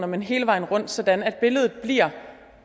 men hele vejen rundt sådan at billedet